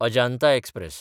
Ajanta express